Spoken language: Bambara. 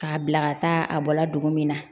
K'a bila ka taa a bɔla dugu min na